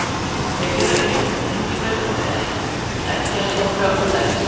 Þeir eru eins konar tengibraut á milli eggjastokka og legs.